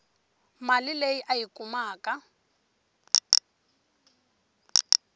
mali leyi a yi kumaku